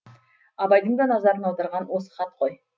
абайдың да назарын аударған осы хат қой